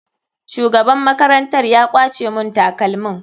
Shugaban makarantar ya kwace mun takalmin.